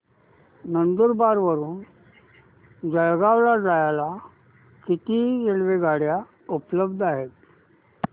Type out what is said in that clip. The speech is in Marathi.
नंदुरबार वरून जळगाव ला जायला किती रेलेवगाडया उपलब्ध आहेत